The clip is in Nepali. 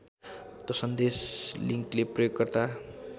सन्देश लिङ्कले प्रयोगकर्ता